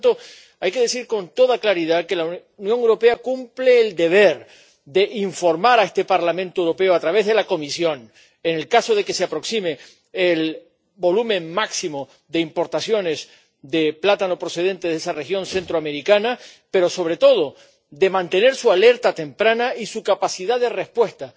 Por tanto, hay que decir con toda claridad que la Unión Europea cumple el deber de informar a este Parlamento Europeo, a través de la Comisión, en el caso de que se vaya a alcanzar el volumen máximo de importaciones de plátano procedente de esa región centroamericana, pero, sobre todo, de mantener su alerta temprana y su capacidad de respuesta.